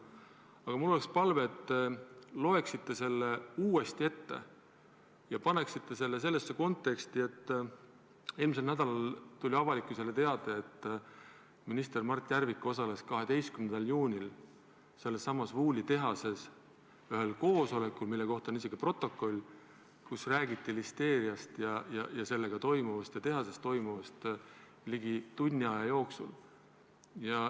Aga mul oleks palve, et te loeksite selle tsitaadi uuesti ette ja paneksite selle sellesse konteksti, et eelmisel nädalal tuli avalikkusele teade, et minister Mart Järvik osales 12. juunil sellessamas M. V. Wooli tehases ühel koosolekul, mille kohta on isegi protokoll, et seal räägiti listeeriast ja tehases toimuvast ligi tunni aja jooksul.